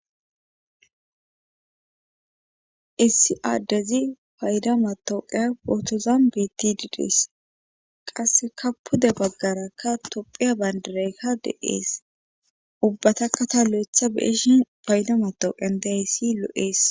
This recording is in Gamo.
Issi aaddezi payda matooqeya wootozan beti diidees qasse ka pude baggarakka tophiya bayndireykka de7ees ubbataka tallo'etha beeshin paydamatooqen daayssi lo'ees